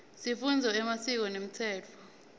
sifundza emasiko nemtsetfo